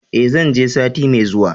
E, zan je sati mai zuwa.